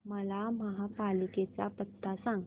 मला महापालिकेचा पत्ता सांग